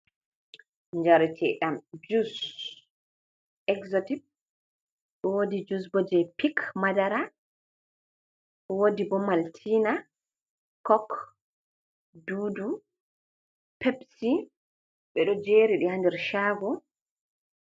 Njareteɗam juss axotip, wodi jus bo je pik madara, wodi bo maltina, cok, dudu pepsi. Ɓeɗo jeriɗi ha nder chago.